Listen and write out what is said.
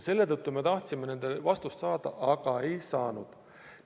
Selle tõttu me tahtsime nendele küsimustele vastust saada, aga ei saanud.